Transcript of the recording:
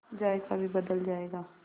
जायका भी बदल जाएगा